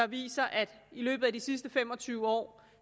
viser at i løbet af de sidste fem og tyve år